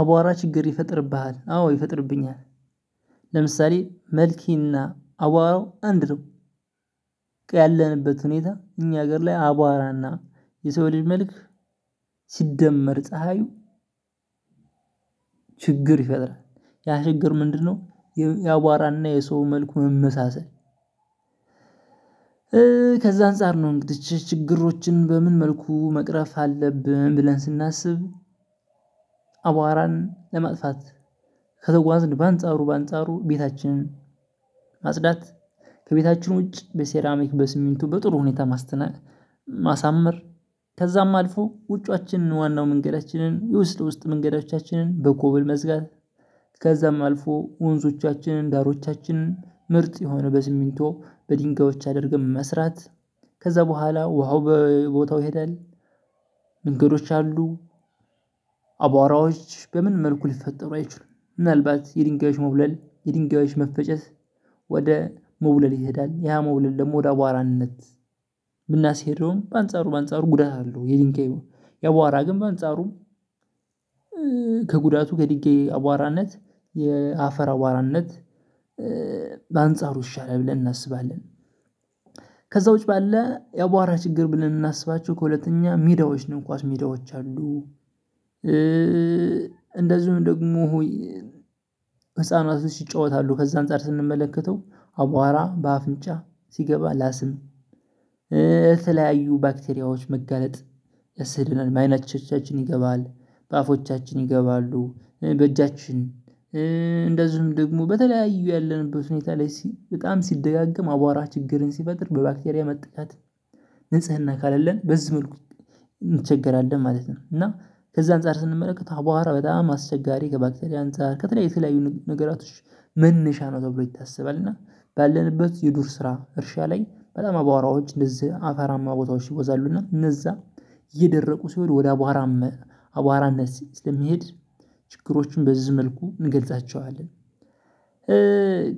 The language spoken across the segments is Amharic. አቧራ ችግር ይፈጥርብሀል አወ ችግር ይፈጥርብኛል። ለምሳሌ መልኬና አቧራው አንድ ነው። ያለንበት ሁኔታ እኛ ሀገር ላይ አቧራና የሰው ልጅ መልክ። ሲደመር ፀሀዩ። ችግር ይፈጥራል ያ ችግር ምንድነው? የአቧራና የሰው መልኩ መመሳሰል። ከዛ አንፃር ነው እንግዲህ ችግሮችን በምን መልኩ መቅረፍ አለብን ብለን ስናስብ። አቧራን ለማጥፋት ከተጓዝን በአንጻሩ በአንጻሩ ቤታችን። ከቤታችሁ ውጭ በሴራሚክ በሲሚንቶ በጥሩ ሁኔታ ማሳመር። ከዛም አልፎ ውጫችንን ዋናው መንገዳችንን የውስጥ ውስጥ መንገዳችንን በኮብል መዝጋት። ከዛም አልፎ ወንዞቻችንን ባህሮቻችንን ምርጥ የሆነ በስሚንቶ በድንጋዮች አድርገን መስራት። ከዛ በኋላ ውሃው በቦታው ይሄዳል። መንገዶች አሉ። አቧራዎች በምን መልኩ ሊፈጠሩ አይችሉም ምናልባት የድንጋዮች መቡለል የድንጋዮች መፈጨስ። ወደ መውለል ይሄዳል ያ መቡለል ደግሞ ወደ አቧራነት። እምናስሄደውም በአንጻሩ በአንጻሩ ጉዳት አለው። የድንጋዩ የአቧራ ግን በአንጻሩ ከጉዳቱ ከድንጋይ አቧራነት የአፈር አቧራነት። በአንጻሩ ይሻላል ብለን እናስባለን። ከዛውጭ ባለ የአቧራ ችግር ብለን እምናስባቸው ሀለተኛ ሜዳወች ነው ኮስ ሜዳወች አሉ። እ እንደዚሁም ደግሞ ህፃናቶች ይጫወታሉ ከዚህ አንፃር ስንመለከተው አቧራ በአፍንጫ ሲገባ ለአስም ለተለያዩ ባክቴሪያዎች መጋለጥ የሰደናል በከይኖቻችን ይገባል በአፎቻችን ይገባሉ። በእጃችን እንደዚሁም ደግሞ በተለያዩ ያለንበት ሁኔታ ላይ በጣም ሲደጋገም አቧራ ችግርን ሲፈጥር በባክቴሪያ መጠቃት። ንጽህና ከሌለን በዚህ መልኩ እንቸገራለን ማለት ነው። እና ከዛ አንፃር ስንመለከት አቧራ በጣም አስቸጋሪ ከባክቴሪያ አንፃር ከተለያዩ ነገሮች መነሻ ነው ተብሎ ይታሰባል። እና ባለንበት የዱር ስራ እርሻ ላይ በጣም አቧራዎች እንደዚህ አፈራማ ቦታዎች ይበዛሉ። እና እነዛ የደረቁ ሲሄድ ወደ አቧራ አቧራነት ስለሚሄድ ችግሮችን በዚህ መልኩ እንገልጻቸዋለን።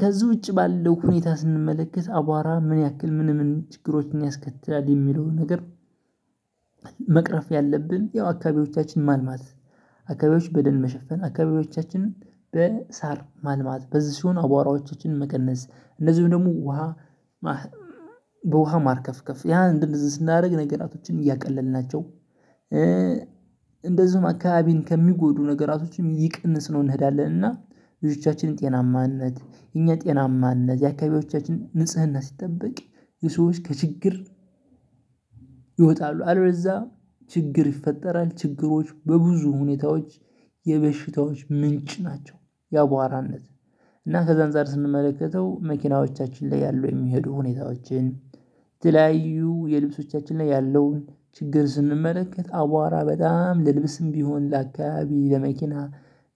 ከዚህ ውጪ ባለው ሁኔታ ስንመለከት አቧራ ምን ያክል ምን ምን ችግሮችን ያስከትላል እሚለውን ነገር። መቅረፍ ያለብን ያው አካባቢዎቻችን ማልማት። አካባቢዎች በደን መሸፈን አካባቢዎቻችን በሳር ማልማት በዚህ ሲሆን አቧራዎቻችንን መቀነስ እንደዚሁም ደግሞ ውሃ። በውሃ ማርከፍከፍ ያ እንደዚህ ስናደርግ ነገራቶችን እያቀለልናቸው። እንደዚሁም አካባቢን ከሚጎዱ ነገራቶችም እየቀነስነው እንሄዳለን። እና ልጆቻችንን ጤናማነት የእኛ ጤናማነት የአካባቢዎቻችን ንጽህና ሲጠበቅ የሰዎች ከችግር ይወጣሉ አለበለዛ ችግር ይፈጠራል። ችግሮች በብዙ ሁኔታዎች የበሽታዎች ምንጭ ናቸው። ያቧራነት እና ከዛ አንፃር ስንመለከተው መኪናዎቻችን ላይ ያሉ የሚሄዱ ሁኔታዎችን የተለያዩ የልብሶቻችን ላይ ያለውን ችግር ስንመለከት አቧራ በጣም ለልብስም ቢሆን ለአካባቢ ለመኪና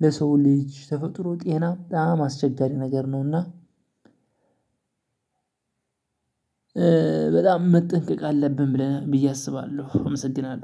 ለሰው ልጅ ተፈጥሮ ጤና በጣም አስቸጋሪ ነገር ነውና። በጣም መጠንቀቅ አለብን ብለን ብዬ አስባለሁ አመሰግናለሁ